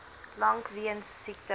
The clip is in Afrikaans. lank weens siekte